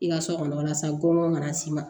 I ka so kɔnɔla sa gɔn kana s'i ma